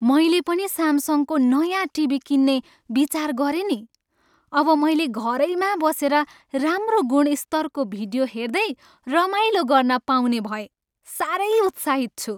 मैले पनि सामसङको नयाँ टिभी किन्ने विचार गरेँ नि। अब मैले घरैमा बसेर राम्रो गुणस्तरको भिडियो हेर्दै रमाइलो गर्न पाउने भएँ। साह्रै उत्साहित छु।